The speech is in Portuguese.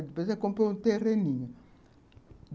Depois ela comprou um terreninho.